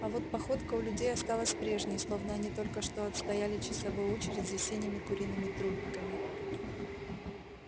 а вот походка у людей осталась прежней словно они только что отстояли часовую очередь за синими куриными трупиками